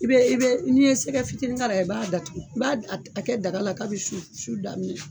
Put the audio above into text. I bɛ i bɛ n'i ye sɛgɛ fitinin k'a la i b'a datugu i b'a a kɛ daga la kabi su daminɛ